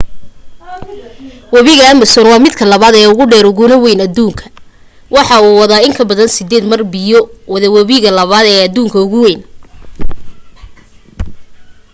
wabiga amazon waa midka labaad ee ugu dheer uguna weyn aduunka waxa uu wadaa in kabadan 8 mar biya uu wada wabiga labaad ee aduunka ugu weyn